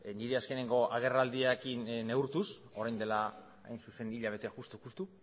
nire azkeneko agerraldiarekin neurtuz orain dela hain zuzen hilabete justu justu